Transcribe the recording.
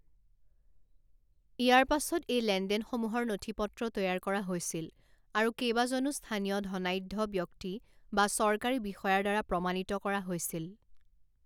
ইয়াৰ পাছত এই লেনদেনসমূহৰ নথিপত্ৰ তৈয়াৰ কৰা হৈছিল আৰু কেইবাজনো স্থানীয় ধনাঢ্য ব্যক্তি বা চৰকাৰী বিষয়াৰ দ্বাৰা প্ৰমাণিত কৰা হৈছিল।